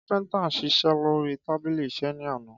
Kápintá n sísé lori tabílí ìsé ní àná